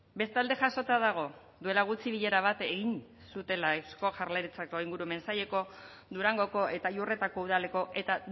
bestalde jasota dago duela gutxi bilera bat egin zutela eusko jaurlaritzako ingurumen saileko durangoko eta iurretako udaleko eta